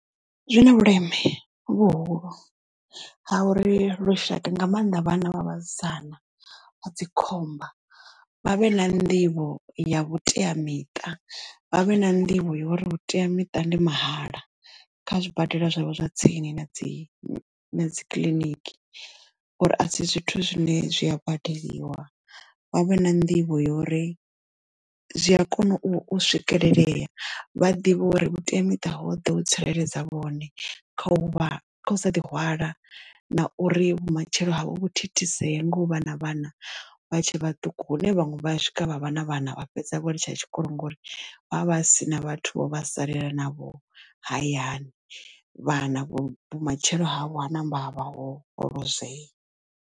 Zwina vhuleme vhuhulu ha uri lushaka nga mannḓa vhana vha vhasidzana dzikhomba vha vhe na nḓivho ya vhuteamiṱa vha vhe na nḓivho ya uri vhuteamiṱa ndi mahala kha zwibadela zwavho zwa tsini na dzi na dzi kiliniki, uri a si zwithu zwine zwi a badeliwa vha vhe na nḓivho yori zwi a kona u swikelelea. Vha ḓivhe uri vhuteamiṱa ho ḓo tsireledza vhone kha u vha kha u sa ḓi hwala na uri vhumatshelo havho vhu thithisee nga u vha na vhana vha tshe vhaṱuku hune vhaṅwe vha swika vha vha na vhana vha fhedza vho litsha tshikolo ngauri vha vha si na vhathu vho vha salela na vho hayani vhana vho vhumatshelo havho ha namba havha ho lozwea.